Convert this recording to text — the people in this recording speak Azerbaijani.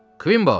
Kvimbo!